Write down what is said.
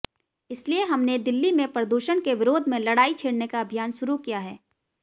इसलिए हमने दिल्ली में प्रदूषण के विरोध में लड़ाई छेड़ने का अभियान शुरू किया है